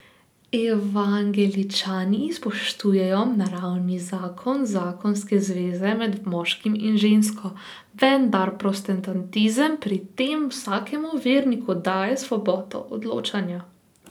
Evangeličani spoštujejo naravni zakon zakonske zveze med moškim in žensko, vendar protestantizem pri tem vsakemu verniku daje svobodo odločanja.